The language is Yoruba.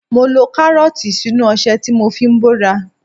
Mo lo Kárọ́ọ̀tì sínú ọṣẹ tí mo fi ń bóra.